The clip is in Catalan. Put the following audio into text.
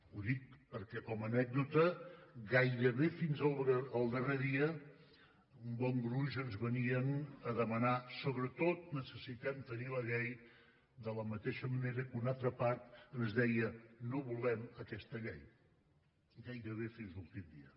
ho dic perquè com a anècdota gairebé fins al darrer dia un bon gruix ens venien a demanar sobretot necessitem tenir la llei de la mateixa manera que una altra part ens deia no volem aquesta llei gairebé fins a l’últim dia